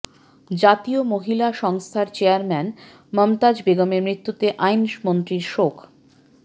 জাতীয় মহিলা সংস্থার চেয়ারম্যান মমতাজ বেগমের মৃত্যুতে আইনমন্ত্রীর শোক